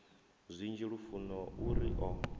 zwinzhi lufuno u ri o